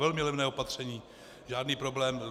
Velmi levné opatření, žádný problém.